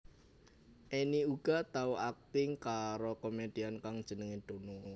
Enny uga tau akting karo komedian kang jenengé Dono